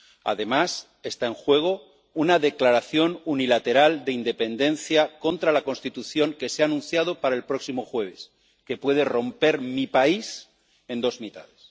Además, está en juego una declaración unilateral de independencia contra la Constitución que se ha anunciado para el próximo jueves y que puede romper mi país en dos mitades.